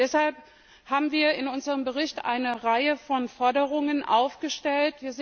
Deshalb haben wir in unserem Bericht eine Reihe von Forderungen aufgestellt.